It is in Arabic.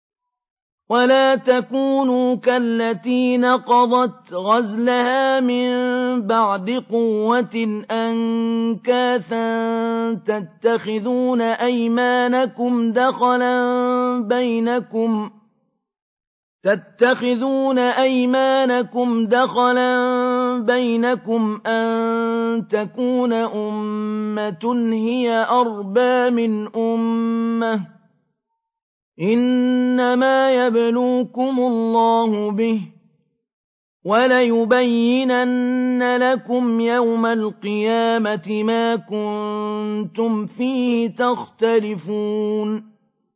وَلَا تَكُونُوا كَالَّتِي نَقَضَتْ غَزْلَهَا مِن بَعْدِ قُوَّةٍ أَنكَاثًا تَتَّخِذُونَ أَيْمَانَكُمْ دَخَلًا بَيْنَكُمْ أَن تَكُونَ أُمَّةٌ هِيَ أَرْبَىٰ مِنْ أُمَّةٍ ۚ إِنَّمَا يَبْلُوكُمُ اللَّهُ بِهِ ۚ وَلَيُبَيِّنَنَّ لَكُمْ يَوْمَ الْقِيَامَةِ مَا كُنتُمْ فِيهِ تَخْتَلِفُونَ